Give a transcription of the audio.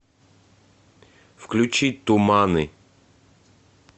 включи туманы